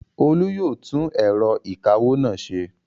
Olú yóò tún ẹ̀rọ ìkawó náà ṣe!